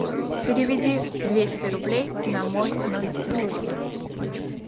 переведи двести рублей на мой номер телефона